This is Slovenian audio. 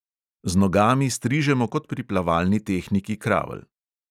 Z nogami strižemo kot pri plavalni tehniki kravl.